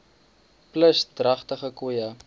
plus dragtige koeie